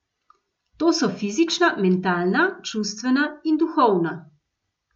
To so fizična, mentalna, čustvena in duhovna.